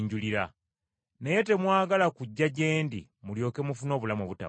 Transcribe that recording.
Naye temwagala kujja gye ndi mulyoke mufune obulamu obutaggwaawo.